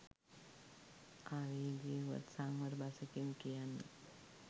ආවේගය වුවත් සංවර බසකින් කියන්න